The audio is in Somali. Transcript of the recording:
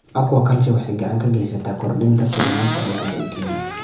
Aquaculture waxay gacan ka geysataa kordhinta sugnaanta cuntada ee Kenya.